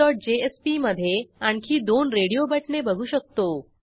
adminsectionजेएसपी मधे आणखी दोन रेडिओ बटणे बघू शकतो